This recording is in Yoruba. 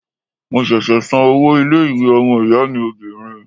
Mo ṣẹ̀ṣẹ̀ san owó ilé-ìwé ọmọ-ìyá mi obìnrin.